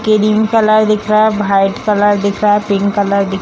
cream colour दिख रहा है व्हाइट कलर दिख रहा है पिंक कलर दि--